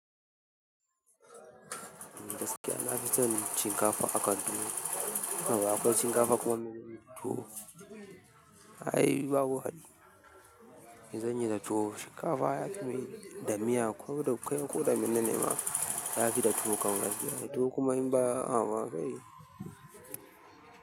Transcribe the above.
Gaskiya na fi son shinkafa a kwando. Akwai shinkafa kuma mene ne tuwo? Ai babu hali. Gidan yari da tuwo. Shinkafa ya fi mai da miya kuma da kai ko da mene ne ma ya fi da tuwo kangas. Tuwo kuma in ba a wa kai.